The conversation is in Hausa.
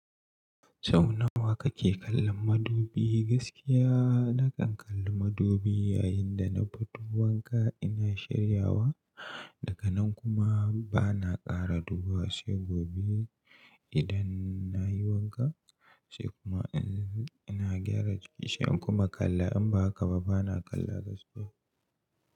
Sau nawa kake kallon madubi? Gaskiya nakan kalla madubi yayin da na fito wanka ina shiryawa, daga nan kuma bana ƙara duba sai gobe idan nayi wanka sai kuma ina gyara kishin kuma kalla in ba haka ba bana kalla gaskiya.